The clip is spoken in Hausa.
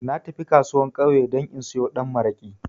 Na tafi kasuwan ƙauye dan in sayo da maraƙi